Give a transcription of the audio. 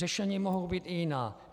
Řešení mohou být i jiná.